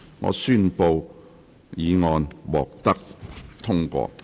我宣布修正案獲得通過。